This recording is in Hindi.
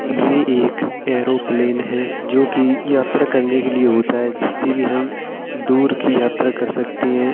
ये एक ऐरोप्लेन है जो कि यात्रा करने के लिए होता है। जिससे कि हम दूर की यात्रा कर सकते हैं।